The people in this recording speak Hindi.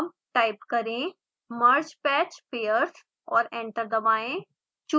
अब टाइप करें mergepatchpairs और एंटर दबाएं